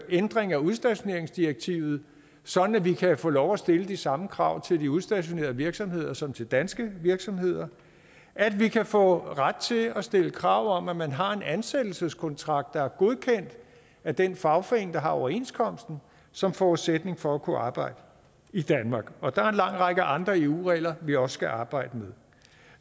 ændring af udstationeringsdirektivet sådan at vi kan få lov at stille de samme krav til de udstationerede virksomheder som til danske virksomheder at vi kan få ret til at stille krav om at man har en ansættelseskontrakt der er godkendt af den fagforening der har overenskomsten som forudsætning for at kunne arbejde i danmark og der er en lang række andre eu regler vi også skal arbejde